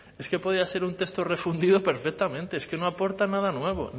es que podía ser un texto refundido perfectamente es que no aporta nada nuevo